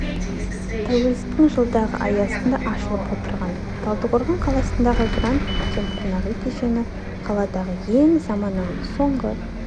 тәуелсіздіктің жылдығы аясында ашылып отырған талдықорған қаласындағы гранд көктем қонақ үй кешені қаладағы ең заманауи соңғы